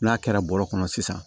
N'a kɛra bɔrɔ kɔnɔ sisan